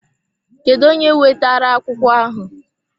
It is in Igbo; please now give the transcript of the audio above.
Kedụ onye wetara akwụkwọ ahụ?